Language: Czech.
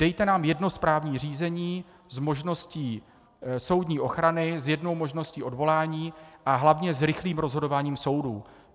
Dejte nám jedno správní řízení s možností soudní ochrany, s jednou možností odvolání a hlavně s rychlým rozhodováním soudů.